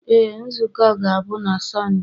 Ee, nzukọ a ga-abụ na Sọnde.